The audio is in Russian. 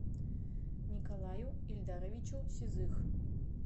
николаю ильдаровичу сизых